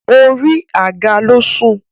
orí àga ló sùn